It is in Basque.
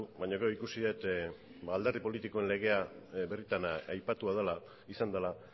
baina gero ikusi dut alderdi politikoen legea birritan aipatua izan dela